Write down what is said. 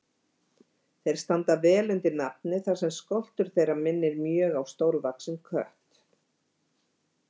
Þeir standa vel undir nafni þar sem skoltur þeirra minnir mjög stórvaxinn kött.